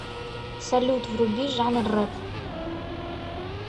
салют вруби жанр реп